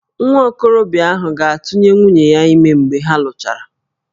Nwa okorobịa ahụ ga-atụnye nwunye ya ime mgbe ha lụchara